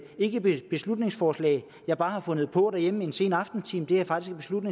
ikke et beslutningsforslag jeg bare har fundet på derhjemme i en sen aftentime det er faktisk et